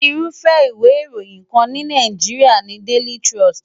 Irúfẹ́ ìwé ìròyìn kan ní ilẹ̀ Nàìjíríà ni Daily Trust.